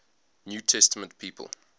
new testament people